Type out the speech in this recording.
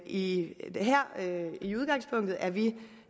i det er vi